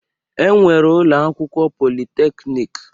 E nwere ụlọakwụkwọ politeknik.